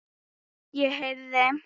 Ég heyrði